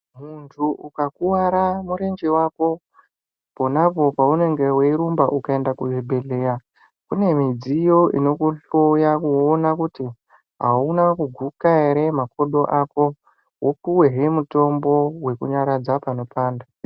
Muntu ukakuwara murenje wako ,pona apo paunenge weirumba ,ukaenda kuzvibhedhleya kune midziyo inokutoya kuona kuti ,auna kuguka ere makodo ako, upuwehe mutombo wekunyaradza panopanda..